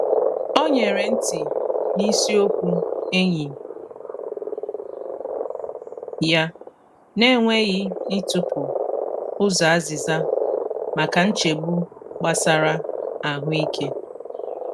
O nyere nti n’isi okwu enyi ya, na-enweghị ịtụpụ ụzọ azịza maka nchegbu gbasara ahụike.